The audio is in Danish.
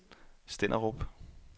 Stenderup